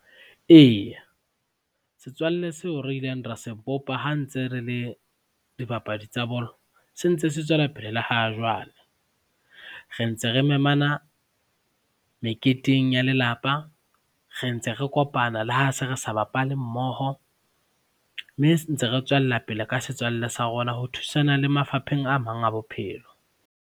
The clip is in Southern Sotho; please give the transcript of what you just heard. Eya, setswalle seo re ileng ra se bopa ha ntse re le dibapadi tsa bolo, sentse se tswellapele le ha jwale. Re ntse re memana meketeng ya lelapa, re ntse re kopana le ha se re sa bapale mmoho mme ntse re tswellapele ka setswalle sa rona ho thusana le mafapheng a mang a bophelo.